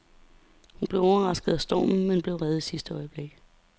Hun blev overrasket af stormen, men blev reddet i sidste øjeblik.